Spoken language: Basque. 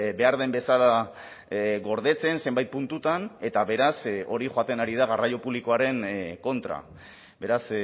behar den bezala gordetzen zenbait puntutan eta beraz hori joaten ari da garraio publikoaren kontra beraz